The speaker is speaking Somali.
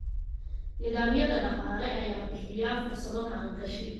Nidaamyada dhaqaale ayaa bixiya fursado maalgashi.